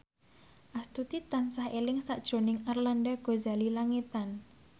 Astuti tansah eling sakjroning Arlanda Ghazali Langitan